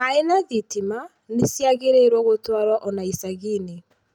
Maĩ na thitima nĩ ciagĩrĩirũo gũtwarũo o na icagi-inĩ.